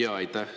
Aitäh!